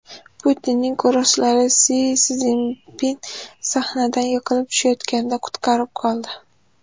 Putinning qo‘riqchilari Si Szinpin sahnadan yiqilib tushayotganda qutqarib qoldi .